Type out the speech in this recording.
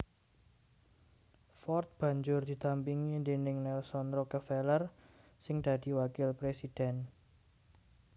Ford banjur didampingi déning Nelson Rockefeller sing dadi wakil présidhèn